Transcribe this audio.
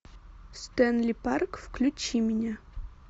стэнли парк включи мне